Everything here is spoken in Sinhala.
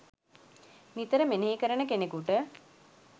නිතර මෙනෙහි කරන කෙනෙකුට